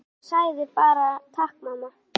En ég sagði bara: Takk mamma.